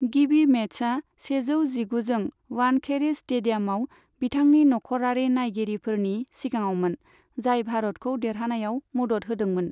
गिबि मेचआ सेजौ जिगुजों वानखेड़े स्टेडियामाव बिथांनि नखरारि नायगिरिफोरनि सिगाङावमोन, जाय भारतखौ देरहानायाव मदद होदोंमोन।